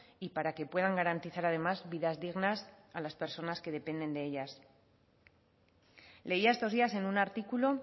y para que puedan garantizar además vidas dignas a las personas que dependen de ellas leía estos días en un artículo